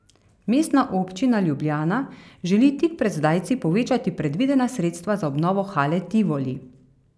Mestna občina Ljubljana želi tik pred zdajci povečati predvidena sredstva za obnovo Hale Tivoli.